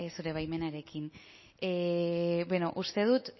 zure baimenarekin bueno uste dut